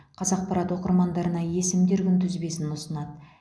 қазақпарат оқырмандарына есімдер күнтізбесін ұсынады